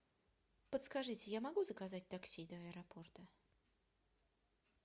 подскажите я могу заказать такси до аэропорта